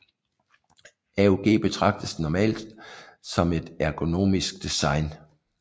AUG betragtes normalt som et ergonomisk design